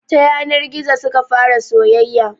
Ta yanar gizo suka fara soyayya